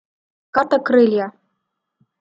карта крылья